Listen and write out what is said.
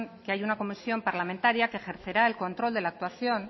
que hay una comisión parlamentaria que ejercerá el control de la actuación